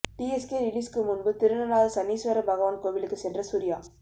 TSK ரிலீஸுக்கு முன்பு திருநள்ளாறு சனீஸ்வர பகவான் கோவிலுக்கு சென்ற சூர்யா